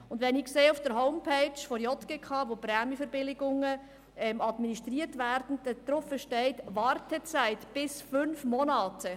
Und auf der Homepage der JGK, wo die Prämienverbilligungen administriert werden, sehe, dass dort steht: «Wartezeit bis fünf Monate».